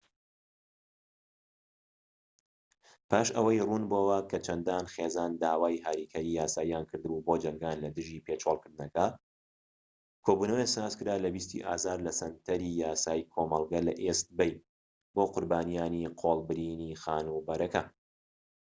پاش ئەوەی ڕوون بۆوە کە چەندان خێزان داوای هاریکاریی یاساییان کردبوو بۆ جەنگان لە دژی پێچۆڵکردنەکە، کۆبوونەوەیەک سازکرا لە ٢٠ ی ئازاردا لە سەنتەری یاسای کۆمەڵگە لە ئیست بەی بۆ قوربانیانی قۆڵبرینی خانوبەرەکە